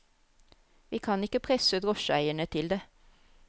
Vi kan ikke presse drosjeeierne til det.